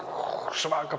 svaka